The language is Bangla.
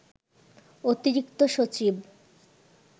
অতিরিক্ত সচিব